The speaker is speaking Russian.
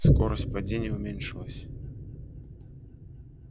скорость падения уменьшилась